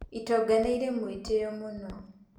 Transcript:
Itonga nĩirĩ mũĩtĩo mũno.